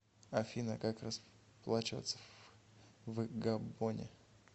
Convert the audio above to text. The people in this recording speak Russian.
афина как расплачиваться в габоне